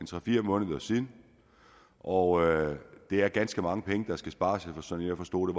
tre fire måneder siden og det er ganske mange penge der skal spares sådan som jeg forstod